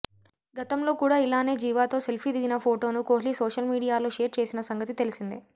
గతంలో కూడా ఇలానే జీవాతో సెల్ఫీ దిగిన ఫోటోను కోహ్లీ సోషల్ మీడియాలో షేర్ చేసిన సంగతి తెలిసిందే